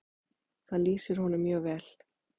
Það lýsir honum mjög vel.